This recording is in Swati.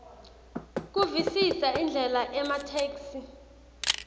kuvisisa indlela ematheksthi